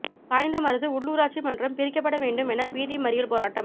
சாய்ந்தமருது உள்ளூராட்சி மன்றம் பிரிக்கப்பட வேண்டும் என வீதி மறியல் போராட்டம்